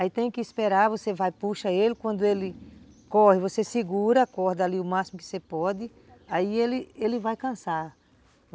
Aí tem que esperar, você vai puxa ele, quando ele corre, você segura a corda ali o máximo que você pode, aí ele ele vai cansar.